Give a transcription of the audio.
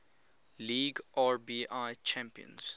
league rbi champions